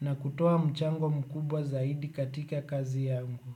na kutoa mchango mkubwa zaidi katika kazi yangu.